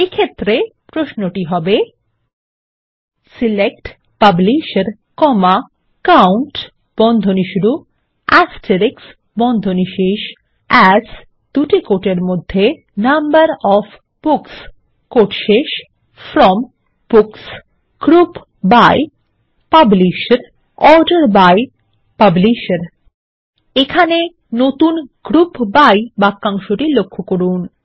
এক্ষেত্রে প্রশ্নটি হবে160 select publisher COUNT as number of books from books group by publisher order by publisher এখানে নতুন গ্রুপ বাই বাক্যাংশটি লক্ষ্য করুন